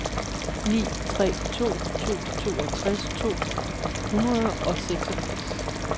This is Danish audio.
ni tre to to toogtres to hundrede og seksogfirs